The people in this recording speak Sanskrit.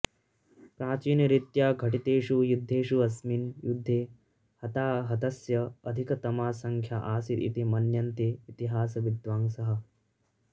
प्राचीनरीत्या घटितेषु युद्धेषु अस्मिन् युद्धे हताहतस्य अधिकतमा संख्या आसीत् इति मन्यन्ते इतिहासविद्वांसः